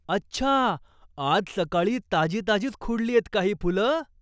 अच्छा! आज सकाळी ताजी ताजीच खुडलीयेत का ही फुलं?